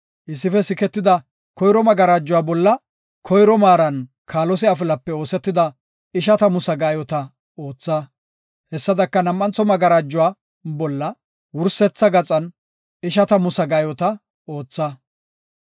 Issife siketida koyro magarajuwa bolla koyro maaran kaalose afilape oosetida ishatamu sagaayota ootha; hessadaka nam7antho magarajuwa bolla wursetha gaxan ishatamu sagaayota ootha.